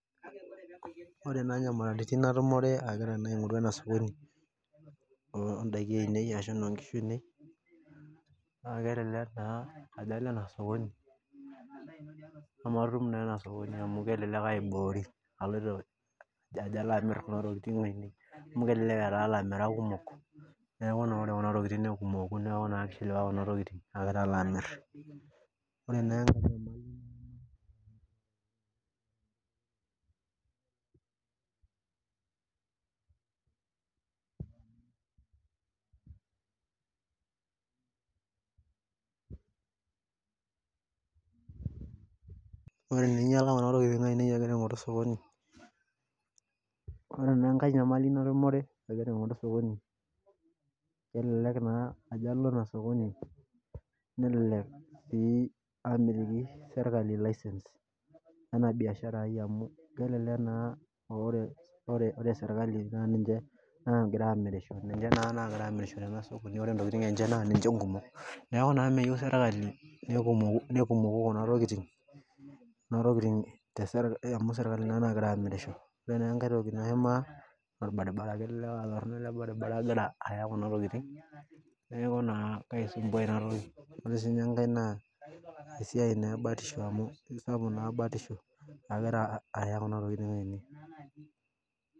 Ore naa nyamalitin natumore aigiata naa aing'oru ena sokoni oodaikin ainei, naa kelelek naa ajo Alp ena sokoni, nematum naa ena sokoni amu kelelek aiboorie aloito ajo atum ntokitin ainei. amu elelek etaa ilamirak kumok, ore Kuna tokitin tenkumoki naa kishilowa Kuna tokitin agira alo amir. ore naaore teninngaial Kuna tokitin ainei agira aing'oru sokoni, ore naa enkae nyamali natumore agira aing'oru sokoni, elelek naa ajo alo Ina sokoni melelek sii aamitiki sirkali license ena biashara ai amu kelelek naa ore sirkali, naa ninche nagira amorisho. ninche naa nagira aamirisho tena sokoni ore ntokitin enye, naa ninche nkumok Neeku naa, meyieu sirkali nekumoku Kuna tokitin, amu sirkali naa nagira aamirisho ore naa enkae. Toki naimaa olbaribara. kelelek aatorono olbaribara agira aya Kuna tokitin neeku naa kaisumpua Ina toki. pee sii ninye enkae naa, esiai naa ebatishp amu isapuk naa batisho nagira aya Kuna tokitin ainei.